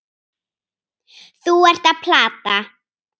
Þú ert að plata.